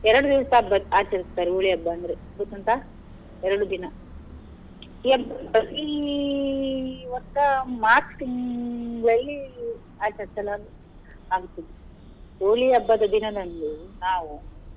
ಎರಡು ದಿವ್ಸ ಹಬ್ಬ ಆಚರಿಸ್ತಾರೆ Holi ಹಬ್ಬ ಅಂದ್ರೆ ಗೊತ್ತುಂಟಾ ಎರಡು ದಿನ April March ತಿಂಗಳಲ್ಲಿ ಆಚರಿಸಲಾಗು~ ಆಗುತ್ತದೆ Holi ಹಬ್ಬದ ದಿನದಂದು ನಾವು.